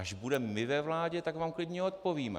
Až budeme my ve vládě, tak vám klidně odpovíme.